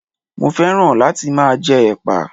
Mo féràn láti máa jẹ Ẹ̀pà.